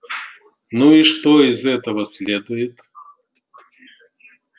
ну и что из этого следует